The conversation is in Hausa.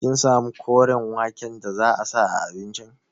Kin samu koren waken da za a sa a abincin?